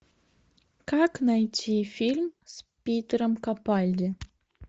как найти фильм с питером капальди